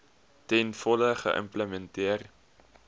ten volle geïmplementeer